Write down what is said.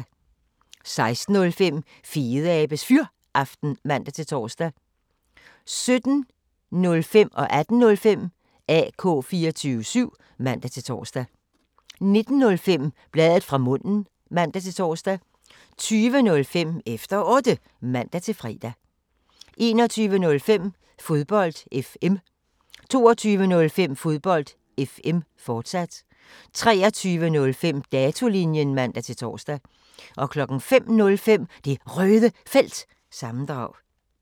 16:05: Fedeabes Fyraften (man-tor) 17:05: AK 24syv (man-tor) 18:05: AK 24syv (man-tor) 19:05: Bladet fra munden (man-tor) 20:05: Efter Otte (man-fre) 21:05: Fodbold FM 22:05: Fodbold FM, fortsat 23:05: Datolinjen (man-tor) 05:05: Det Røde Felt – sammendrag